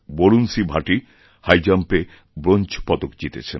Varun C Bhati হাইজাম্পে bronze পদক জিতেছেন